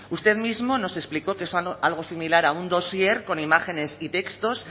usted mismo nos explicó que es algo similar a un dossier con imágenes y textos